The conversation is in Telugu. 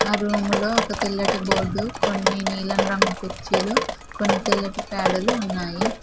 ఆ రూమ్ లో ఒక తెల్లటి బోర్డు కొన్ని నీలం రంగు కుర్చీలు కొన్ని తెల్లటి పేడలు ఉన్నాయి.